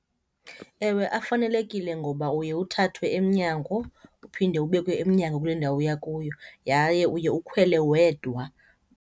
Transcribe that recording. Ewe, afanelekile ngoba uye uthathwe emnyango uphinde ubekwe emnyango kule ndawo uya kuyo yaye uye ukhwele wedwa.